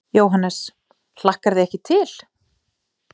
Jóhannes: Hlakkar þig ekki til?